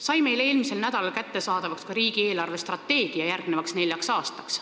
Meile sai eelmisel nädalal kättesaadavaks ka riigi eelarvestrateegia järgmiseks neljaks aastaks.